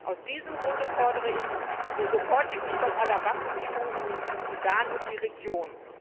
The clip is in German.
Aus diesem Grund fordere ich den sofortigen Stopp aller Waffenlieferungen in den Südsudan und die Region.